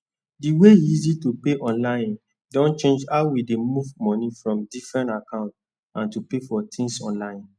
di way e easy to pay online don change how we dey move money from different account and to pay for tins online